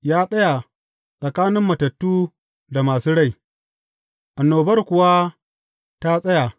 Ya tsaya tsakanin matattu da masu rai, annobar kuwa ta tsaya.